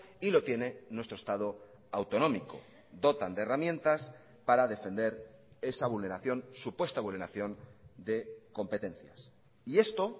y lo tiene nuestro estado autonómico dotan de herramientas para defender esa vulneración supuesta vulneración de competencias y esto